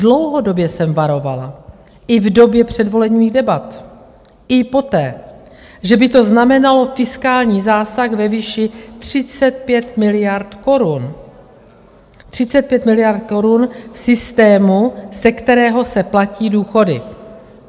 Dlouhodobě jsem varovala, i v době předvolebních debat, i poté, že by to znamenalo fiskální zásah ve výši 35 miliard korun - 35 miliard korun v systému, ze kterého se platí důchody.